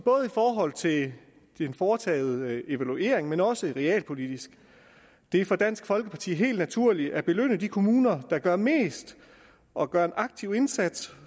forhold til den foretagede evaluering men også realpolitisk det er for dansk folkeparti naturligt at belønne de kommuner der gør mest og gør en aktiv indsats